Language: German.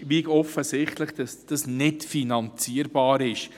Es ist offensichtlich, dass das nicht finanzierbar ist.